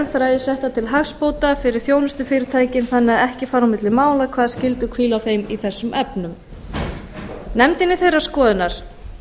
þræði settar til hagsbóta fyrir þjónustufyrirtækin þannig að ekki fari á milli mála hvaða skyldur hvíli á þeim í þessum efnum nefndin er þeirrar skoðunar